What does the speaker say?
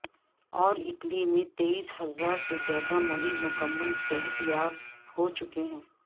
اور اٹلی میں تیئس ہزار سے زیادہ مریض مکمل صحت یاب ہو چکے ہیں